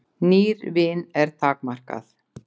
Nýr vin er takmarkað.